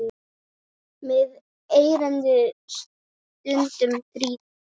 Mig erindið stundum þrýtur.